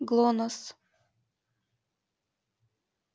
глонассс